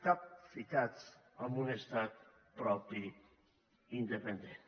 capficats amb un estat propi independent